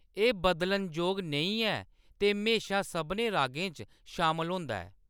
एह्‌‌ बदलनजोग नेईं ऐ ते म्हेशां सभनें रागें च शामल होंदा ऐ।